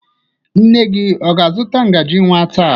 Nne gị ọ ga-azụta ngaji nwa taa?